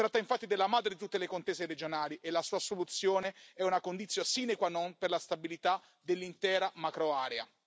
Si tratta infatti della madre di tutte le contese regionali e la sua soluzione è una conditio sine qua non per la stabilità dell'intera macroarea.